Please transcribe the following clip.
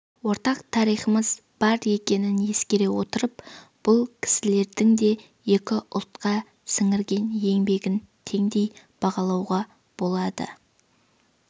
ортақ тарихымыз бар екенін ескере отырып бұл кісілердің де екі ұлтқа сіңірген еңбегін теңдей бағалауға болады